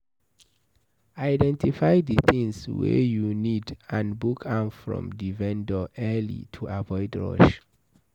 Identify di things wey you need and book am from di vendor early to avoid rush